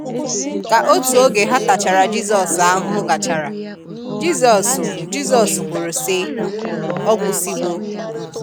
Ka otụ oge ha tachara Jisos ahụhụ gachara, Jisos Jisos kwụrụ si, “ọ gwusi wo”